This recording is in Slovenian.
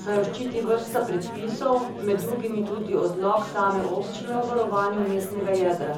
saj jo ščiti vrsta predpisov, med drugim tudi odlok same občine o varovanju mestnega jedra.